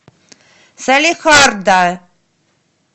салехарда